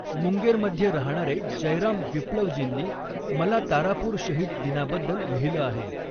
मुंगेरमध्ये रहाणारे जयराम विप्लव़जींनी मला तारापूर शहिद दिनाबद्दल लिहिलं आहे.